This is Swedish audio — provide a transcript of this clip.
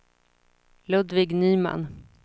Ludvig Nyman